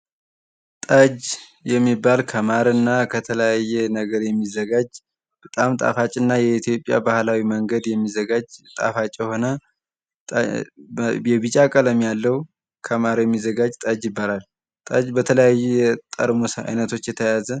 ጠጅ የሚባል ከማርና ከተለያየ ነገር የሚዘጋጅ በጣም ጣፋጭና የኢትዮጵያ ባህላዊ መንገድ የሚዘጋጅ ጣፋጭ የሆነ ቢጫ ቀለም ያለው ከማር የሚዘጋጅ ጠጅ ይባላል። ጠጅ በተለያየ ጠርሙስ አይነቶች የተያዘ።